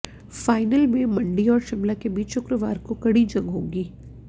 final में मंडी और शिमला के बीच शुक्रवार को कड़ी जंग होगी